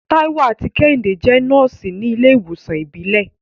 Taiwo àti Kehinde jẹ́ nọ́ọ̀sì ní ilé ìwòsàn ìbílẹ̀.